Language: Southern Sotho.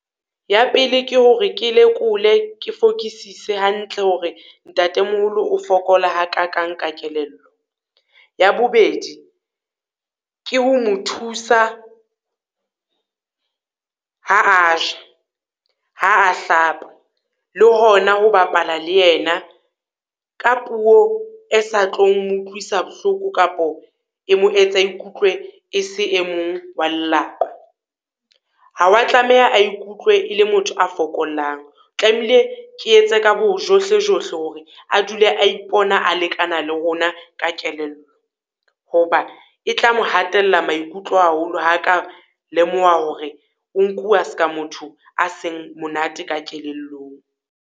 Ya pele ke hore ke lekole, ke fokisise hantle hore ntatemoholo o fokola ha ka kang ka kelello. Ya bobedi, ke ho mo thusa ha a ja, ha a hlapa, le hona ho bapala le yena ka puo e sa tlo mo utlwisa bohloko kapo e mo etsa ikutlwe e se e mong wa lelapa. Ha wa tlameha a ikutlwe e le motho a fokolang, o tlamehile ke etse ka bojohlejohle hore a dule a ipona a lekana le rona ka kelello. Ho ba e tla mo hatella maikutlo haholo ha ka lemoha hore o nkuwa ska motho a seng monate ka kelellong.